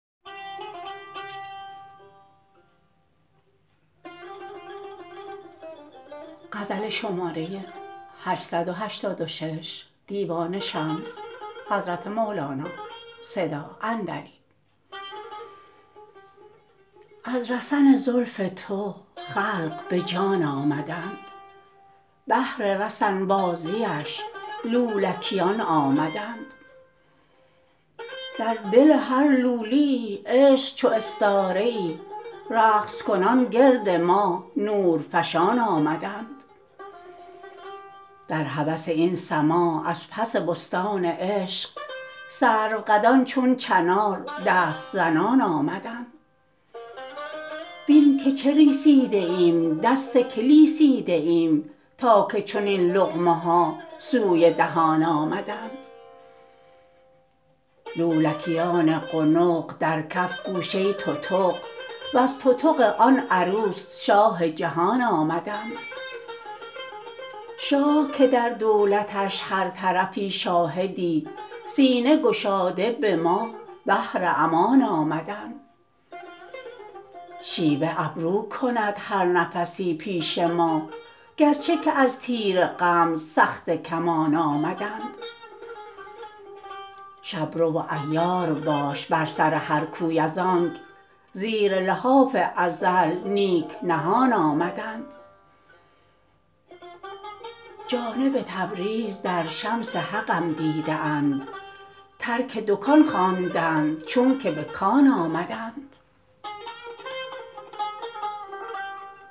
از رسن زلف تو خلق به جان آمدند بهر رسن بازیش لولیکان آمدند در دل هر لولیی عشق چو استاره ای رقص کنان گرد ماه نورفشان آمدند در هوس این سماع از پس بستان عشق سروقدان چون چنار دست زنان آمدند بین که چه ریسیده ایم دست که لیسیده ایم تا که چنین لقمه ها سوی دهان آمدند لولیکان قنق در کف گوشه تتق وز تتق آن عروس شاه جهان آمدند شاه که در دولتش هر طرفی شاهدی سینه گشاده به ما بهر امان آمدند شیوه ابرو کند هر نفسی پیش ما گرچه که از تیر غمز سخته کمان آمدند شب رو و عیار باش بر سر هر کوی از آنک زیر لحاف ازل نیک نهان آمدند جانب تبریز در شمس حقم دیده اند ترک دکان خواندند چونک به کان آمدند